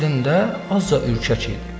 Əslində azca ürkək idi.